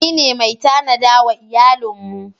Ni ne mai tanada wa iyalin mu.